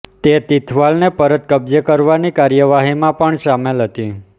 તે તિથવાલને પરત કબ્જે કરવાની કાર્યવાહીમાં પણ સામેલ હતી